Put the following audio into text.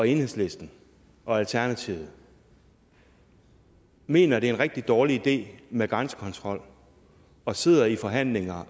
enhedslisten og alternativet mener det er en rigtig dårlig idé med grænsekontrol og sidder i forhandlinger